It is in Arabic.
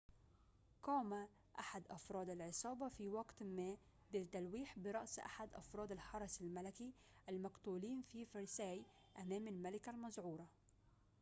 قام أحد أفراد العصابة في وقت ما بالتلويح برأس أحد أفراد الحرس الملكي المقتولين في فرساي أمام الملكة المذعورة